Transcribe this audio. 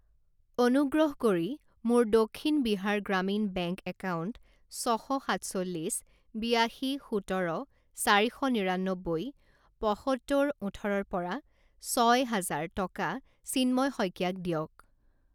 অনুগ্ৰহ কৰি মোৰ দক্ষিণ বিহাৰ গ্ৰামীণ বেংক একাউণ্ট ছ শ সাতচল্লিছ বিয়াশী সোতৰ চাৰি শ নিৰান্নব্বৈ পঁসত্তৰ ওঠৰৰ পৰা ছয় হাজাৰ টকা চিন্ময় শইকীয়াক দিয়ক।